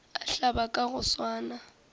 a hlabe ka go swana